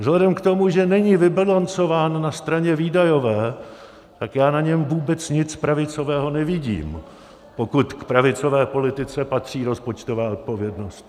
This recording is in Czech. Vzhledem k tomu, že není vybalancován na straně výdajové, tak já na něm vůbec nic pravicového nevidím, pokud k pravicové politice patří rozpočtová odpovědnost.